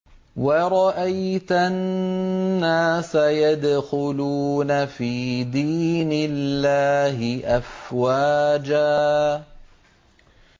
وَرَأَيْتَ النَّاسَ يَدْخُلُونَ فِي دِينِ اللَّهِ أَفْوَاجًا